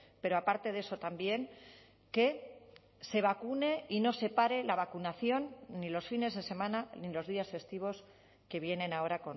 pero aparte de eso también que se vacune y no se pare la vacunación ni los fines de semana ni los días festivos que vienen ahora